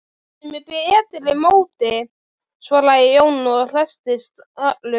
Hún er með betra móti, svaraði Jón og hresstist allur.